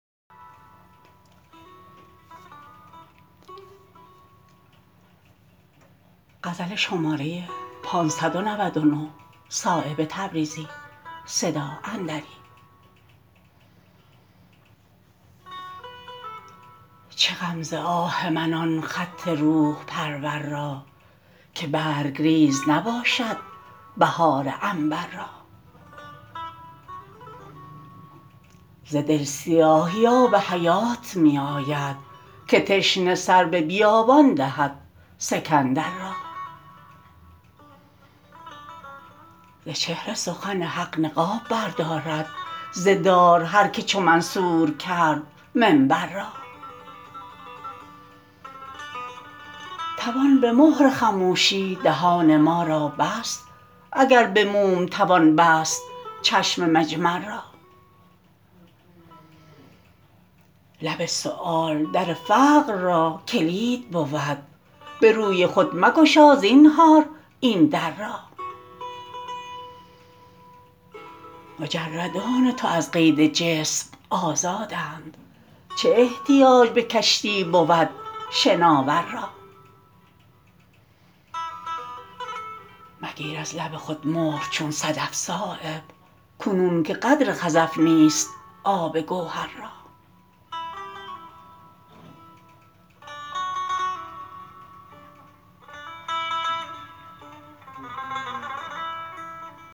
چه غم ز آه من آن خط روح پرور را که برگریز نباشد بهار عنبر را ز دل سیاهی آب حیات می آید که تشنه سر به بیابان دهد سکندر را ز چهره سخن حق نقاب بردارد ز دار هر که چو منصور کرد منبر را توان به مهر خموشی دهان ما را بست اگر به موم توان بست چشم مجمر را لب سؤال در فقر را کلید بود به روی خود مگشا زینهار این در را مجردان تو از قید جسم آزادند چه احتیاج به کشتی بود شناور را مگیر از لب خود مهر چون صدف صایب کنون که قدر خزف نیست آب گوهر را